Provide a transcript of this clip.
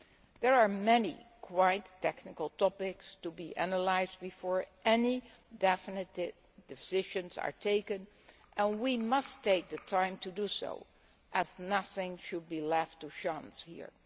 There are many quite technical topics to be analysed before any definite decisions are taken and we must take the time to do so, as nothing should be left to chance here.